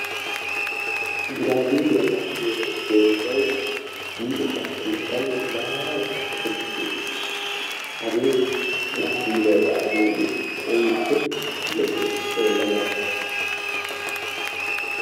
Giraabeliyaa yaagiyoo mittay luxxetta keettan maaran tokkettidi uttiis. hagee giraabeliyaa yaagiyoogee keehippe lo"ees xeellanawu